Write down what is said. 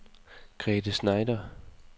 Grethe Schneider